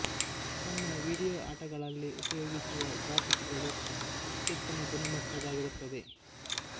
ತನ್ನ ವೀಡಿಯೊ ಆಟಗಳಲ್ಲಿ ಉಪಯೋಗಿಸುವ ಗ್ರಾಫಿಕ್ಸ್ ಗಳು ಅತ್ಯುತ್ತಮ ಗುಣಮಟ್ಟದ್ದಾಗಿರುತ್ತದೆ